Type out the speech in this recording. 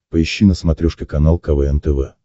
поищи на смотрешке канал квн тв